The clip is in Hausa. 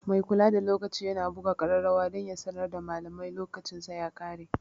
Mai kula da lokaci yana buga kararrawa dan ya sanar da malami lokacinsa ya kare.